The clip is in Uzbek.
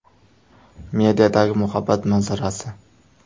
Mediadagi muhabbat manzarasi.